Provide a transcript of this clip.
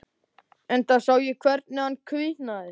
Enda sá ég hvernig hann hvítnaði.